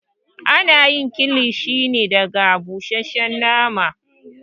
Ana kilishi ne daga busasshen nama